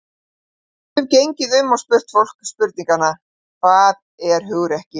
Við gætum gengið um og spurt fólk spurningarinnar: Hvað er hugrekki?